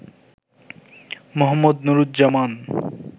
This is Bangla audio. মো. নুরুজ্জামান